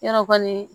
Yarɔ kɔni